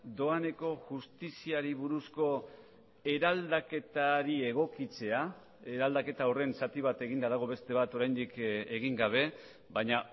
doaneko justiziari buruzko eraldaketari egokitzea eraldaketa horren zati bat eginda dago beste bat oraindik egin gabe baina